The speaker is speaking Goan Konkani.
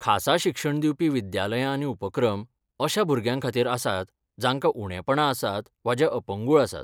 खासा शिक्षण दिवपी विद्यालयां आनी उपक्रम अश्या भुरग्यांखातीर आसात जाकां उणेंपणां आसात वा जे अपंगूळ आसात.